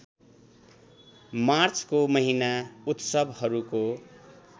मार्चको महिना उत्सवहरूको